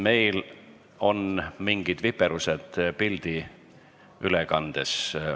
Meil on mingid viperused pildiülekandes.